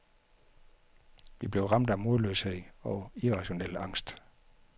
Vi blev ramt af modløshed og irrationel angst.